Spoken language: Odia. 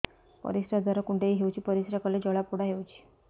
ପରିଶ୍ରା ଦ୍ୱାର କୁଣ୍ଡେଇ ହେଉଚି ପରିଶ୍ରା କଲେ ଜଳାପୋଡା ହେଉଛି